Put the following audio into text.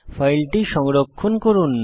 ফাইলটি সংরক্ষণ করুন